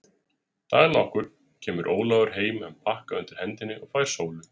Dag nokkurn kemur Ólafur heim með pakka undir hendinni og fær Sólu.